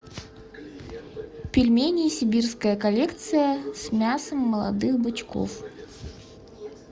пельмени сибирская коллекция с мясом молодых бычков